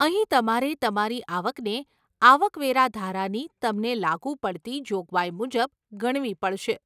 અહીં તમારે તમારી આવકને આવક વેરા ધારાની તમને લાગુ પડતી જોગવાઈ મુજબ ગણવી પડશે.